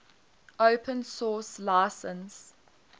open source license